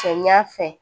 Cɛ ɲa fɛ